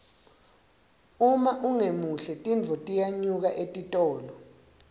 uma ungemuhle tintfo tiyanyuka etitolo